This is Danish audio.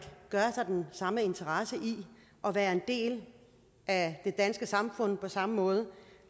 har den samme interesse i at være en del af det danske samfund på samme måde